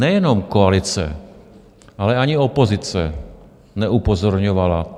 Nejenom koalice, ale ani opozice neupozorňovala.